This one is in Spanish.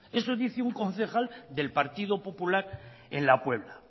eso dice un concejal del partido popular en la puebla